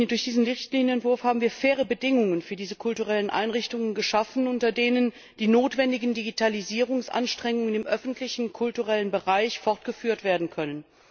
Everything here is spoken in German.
Durch diesen Richtlinienentwurf haben wir faire Bedingungen für diese kulturellen Einrichtungen geschaffen, unter denen die notwendigen Digitalisierungsanstrengungen im öffentlichen kulturellen Bereich fortgeführt werden können.